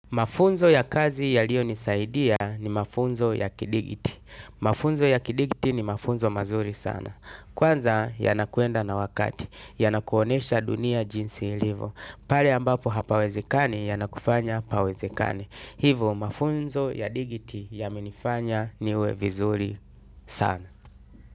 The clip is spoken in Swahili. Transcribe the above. Mafunzo ya kazi yaliyonisaidia ni mafunzo ya kidigiti. Mafunzo ya kidigiti ni mafunzo mazuri sana. Kwanza yanakuenda na wakati, yanakuonesha dunia jinsi ilivo. Pale ambapo hapawezekani yanakufanya pawezekane hivo mafunzo ya digiti yamenifanya niwe vizuri sana.